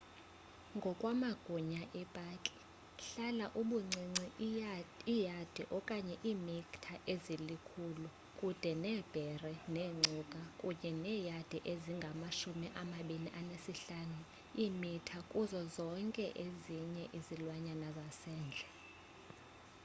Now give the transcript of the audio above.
ngokwamagunya epaki hlala ubuncinci iiyadi/iimitha ezili-100 kude neebhere neengcuka kunye neeyadi ezingama-25/iimitha kuzo zonke ezinye izilwanyana zasendle!